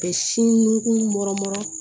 Ka sin nunkun